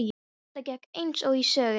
Þetta gekk eins og í sögu.